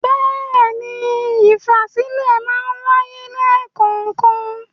Bẹ́ẹ̀ni, ìfàsílẹ̀ máa ń wáyé lẹ́kọ̀ọ̀kan.